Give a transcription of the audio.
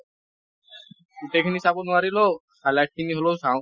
গোটেইখিনি চাব নোৱাৰিলেও highlight খিনি হলেও চাওঁ।